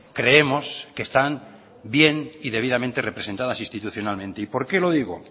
creemos que están bien y debidamente representadas institucionalmente y por qué lo digo